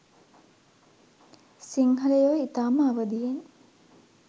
සිංහලයෝ ඉතාම අවදියෙන්